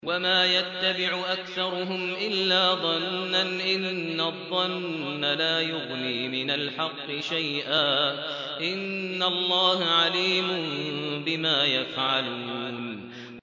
وَمَا يَتَّبِعُ أَكْثَرُهُمْ إِلَّا ظَنًّا ۚ إِنَّ الظَّنَّ لَا يُغْنِي مِنَ الْحَقِّ شَيْئًا ۚ إِنَّ اللَّهَ عَلِيمٌ بِمَا يَفْعَلُونَ